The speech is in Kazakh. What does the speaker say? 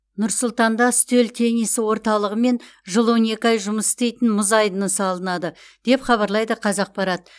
нұр сұлтанда үстел теннисі орталығы мен жыл он екі ай жұмыс істейтін мұз айдыны салынады деп хабарлайды қазақпарат